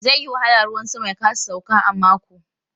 Zai yi wahala ruwan sama ya kasa sauka a mako.